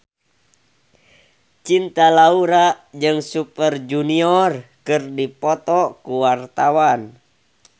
Cinta Laura jeung Super Junior keur dipoto ku wartawan